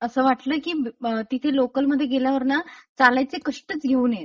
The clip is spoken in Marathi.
असं वाटलं की अ.. तिथे लोकल मध्ये गेल्यावरना चालायचे कष्टच घेऊन नये.